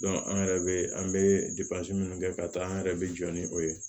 an yɛrɛ bɛ an bɛ minnu kɛ ka taa an yɛrɛ bɛ jɔ ni o ye